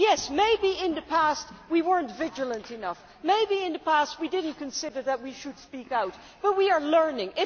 Yes, maybe in the past we were not vigilant enough, maybe in the past we did not consider that we should speak out, but we are learning.